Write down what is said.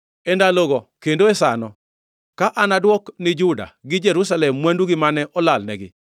“E ndalogo kendo e sano, ka anadwok ni Juda gi Jerusalem mwandugi mane olalnegi.